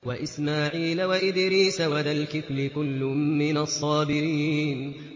وَإِسْمَاعِيلَ وَإِدْرِيسَ وَذَا الْكِفْلِ ۖ كُلٌّ مِّنَ الصَّابِرِينَ